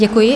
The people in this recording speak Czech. Děkuji.